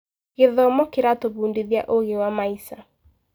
Gĩthomo kĩratũbundithia ũũgĩ wa maica.